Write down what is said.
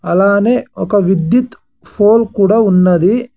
అలానే ఒక విద్యుత్ ఫోల్ కూడా ఉన్నది.